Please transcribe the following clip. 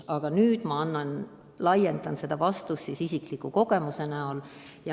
Aga ma laiendan seda vastust isikliku kogemuse põhjal.